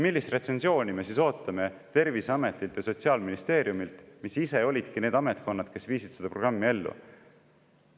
Millist retsensiooni me siis ootame Terviseametilt ja Sotsiaalministeeriumilt, kui nemad ise olidki need ametkonnad, kes viisid seda programmi ellu?